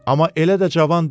Amma elə də cavan deyil.